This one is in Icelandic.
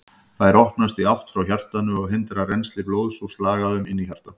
Þær opnast í átt frá hjartanu og hindra rennsli blóðs úr slagæðunum inn í hjartað.